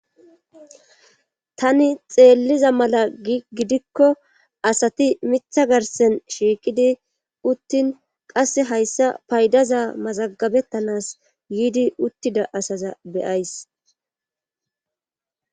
tani xeelliza mala gidikko asati mitha garsen shiiqidi uttin qasse hayssa paydaza mazagabettanas yiidi uttida asaza beyays